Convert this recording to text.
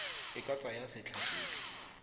e ka tsaya setlha sotlhe